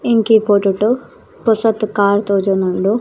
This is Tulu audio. ಎಂಕೀ ಫೊಟೊ ಟು ಪೊಸತ್ ಕಾರ್ ತೋಜೊಂದುಂಡು.